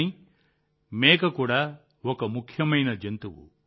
కానీ మేక కూడా ఒక ముఖ్యమైన జంతువు